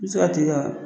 I bɛ se ka t'i ka